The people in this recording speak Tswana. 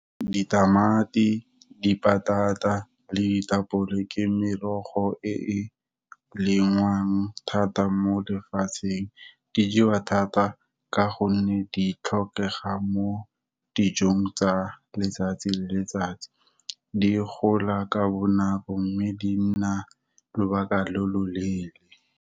Ditamati, dipatata, le ditapole, ke merogo e e lengwang thata mo lefatsheng. Di jewa thata ka go nne di tlhokega mo dijong tsa letsatsi le letsatsi, di gola ka bonako mme di nna lobaka lo lo leele.